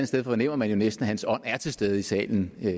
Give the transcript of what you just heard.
sted fornemmer man jo næsten at hans ånd er til stede i salen med